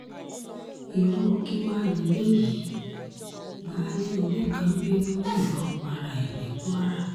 irú kí wàá lélẹ́yìí baálé ilé kan bínú yìnbọn para ẹ̀ ní kwara